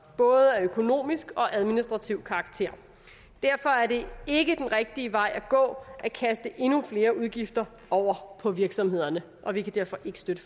af både økonomisk og administrativ karakter derfor er det ikke den rigtige vej at gå at kaste endnu flere udgifter over på virksomhederne vi kan derfor ikke støtte